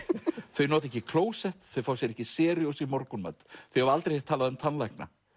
þau nota ekki klósett þau fá sér ekki serios í morgunmat þau hafa aldrei heyrt talað um tannlækna